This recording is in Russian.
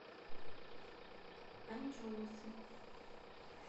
анчоусы